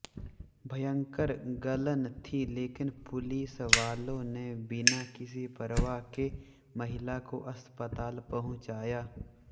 भयंकर गलन थी लेकिन पुलिसवालों ने बिना किसी परवाह के महिला को अस्पताल पहुंचाया